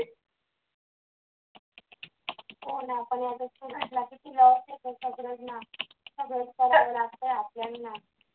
सगळं करावं लागत आपल्याला